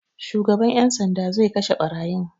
Shugaban 'yan sanda zai kashe ɓarayin.